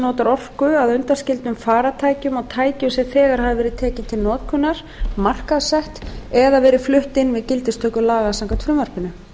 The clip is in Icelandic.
notar orku að undanskildum farartækjum og tækjum sem þegar hafa verið tekin til notkunar markaðssett eða verið flutt inn við gildistöku laga samkvæmt frumvarpinu